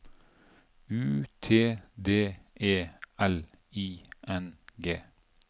U T D E L I N G